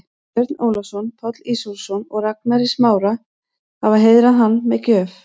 Björn Ólafsson, Páll Ísólfsson og Ragnar í Smára, hafa heiðrað hann með gjöf.